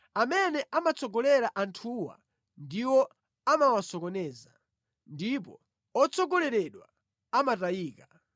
Amene amatsogolera anthuwa ndiwo amawasocheretsa, ndipo otsogoleredwa amatayika.